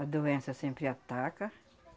A doença sempre ataca.